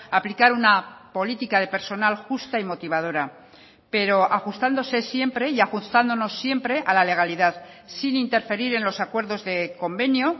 aplicar una política de personal justa y motivadora pero ajustándose siempre y ajustándonos siempre a la legalidad sin interferir en los acuerdos de convenio